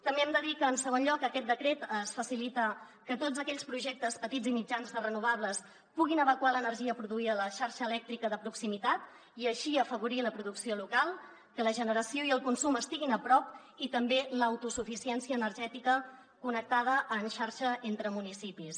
també hem de dir que en segon lloc aquest decret facilita que tots aquells projectes petits i mitjans de renovables puguin evacuar l’energia produïda a la xarxa elèctrica de proximitat i així afavorir la producció local que la generació i el consum estiguin a prop i també l’autosuficiència energètica connectada en xarxa entre municipis